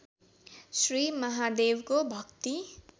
श्री महादेवको भक्ति